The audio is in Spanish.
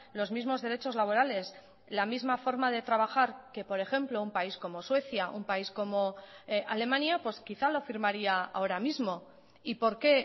los mismos derechos laborales la misma forma de trabajar que por ejemplo un país como suecia un país como alemania pues quizá lo firmaría ahora mismo y por qué